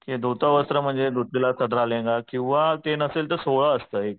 की दुतवस्त्र म्हणजे धुतलेलं सदरा लेंगा किंवा ते नसेल तर असतं एक